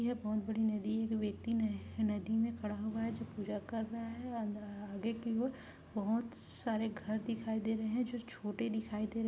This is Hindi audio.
यह बहुत बड़ी नदी है जो व्यक्ति नह नदी में खड़ा हुआ है जो पूजा कर रहा है अन्दर अ आगे की ओर बहुत सारे घर दिखाई दे रहे है जो छोटे दिखाई दे--